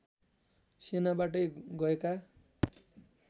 सेनाबाटै गएका